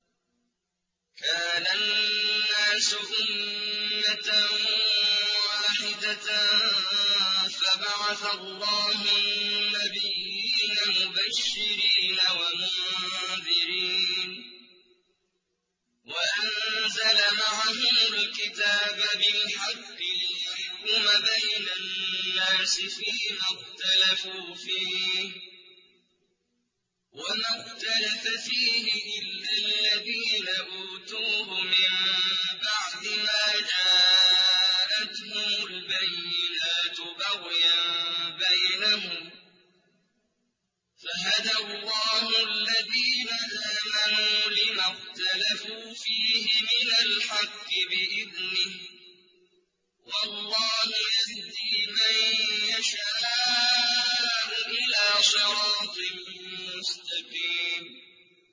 كَانَ النَّاسُ أُمَّةً وَاحِدَةً فَبَعَثَ اللَّهُ النَّبِيِّينَ مُبَشِّرِينَ وَمُنذِرِينَ وَأَنزَلَ مَعَهُمُ الْكِتَابَ بِالْحَقِّ لِيَحْكُمَ بَيْنَ النَّاسِ فِيمَا اخْتَلَفُوا فِيهِ ۚ وَمَا اخْتَلَفَ فِيهِ إِلَّا الَّذِينَ أُوتُوهُ مِن بَعْدِ مَا جَاءَتْهُمُ الْبَيِّنَاتُ بَغْيًا بَيْنَهُمْ ۖ فَهَدَى اللَّهُ الَّذِينَ آمَنُوا لِمَا اخْتَلَفُوا فِيهِ مِنَ الْحَقِّ بِإِذْنِهِ ۗ وَاللَّهُ يَهْدِي مَن يَشَاءُ إِلَىٰ صِرَاطٍ مُّسْتَقِيمٍ